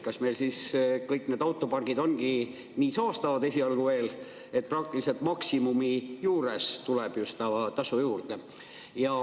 Kas meil siis kõik need autopargid ongi nii saastavad esialgu veel, et praktiliselt maksimumi juures tuleb just tasu juurde?